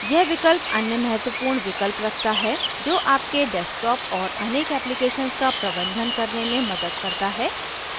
यह विकल्प अन्य महत्वपूर्ण विकल्प रखता है जो आपके desktop और अनेक applications का प्रबंधन करने में मदद करता है